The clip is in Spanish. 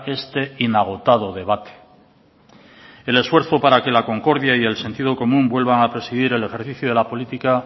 este inagotado debate el esfuerzo para que la concordia y el sentido común vuelvan a presidir el ejercicio de la política